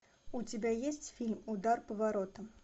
у тебя есть фильм удар по воротам